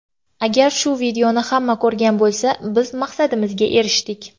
Agar shu videoni hamma ko‘rgan bo‘lsa, biz maqsadimizga erishdik.